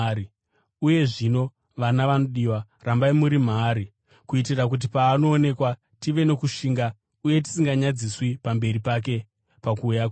Uye zvino, vana vanodiwa, rambai muri maari, kuitira kuti paanoonekwa tive nokushinga uye tisinganyadziswi pamberi pake pakuuya kwake.